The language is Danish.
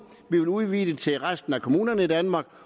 vil udvide det til resten af kommunerne i danmark